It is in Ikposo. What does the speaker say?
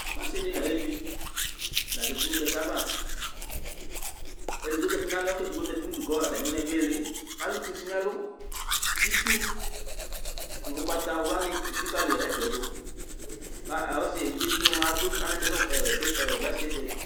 ɔssidï naevï la zatï nũ kɛkɛava édigbo zati nalɔ k'edigbo zati nũdu kɔ ataminaẽ duili kalu kussi nɛlũ kïtchu nũ ʊgbata wluani elikaliẽfɛ dũ ka ɔssi evidze tïgna mua adũ anatchɛ ɔh